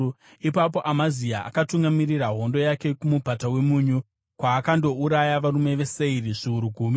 Ipapo Amazia akatungamirira hondo yake kuMupata weMunyu, kwaakandouraya varume veSeiri zviuru gumi.